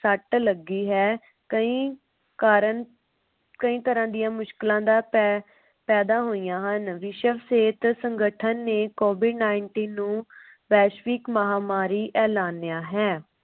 ਸੱਟ ਲੱਗੀ ਹੈ। ਕਈ ਕਾਰਨ ਕਈ ਤਰਾਂ ਦੀਆ ਮੁਸ਼ਕਿਲਾਂ ਦਾ ਫੇਫਾਇਦਾ ਹੋਇਆ ਹਨ. ਵਿਸ਼ਵ ਸਿਹਤ ਸੰਗਠਨ ਨੇ covid nineteen ਨੂੰ ਵੈਸ਼ਵਿਕ ਮਹਾਮਾਰੀ ਐਲਾਨਿਆ ਹੈ।